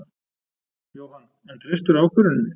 Jóhann: En treystirðu ákvörðuninni?